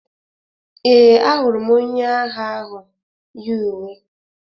Ee, ahụrụ m onye agha ahụ yi uwe.